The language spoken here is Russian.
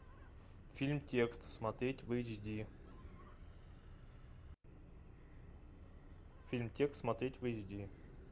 фильм текст смотреть в эйч ди фильм текст смотреть в эйч ди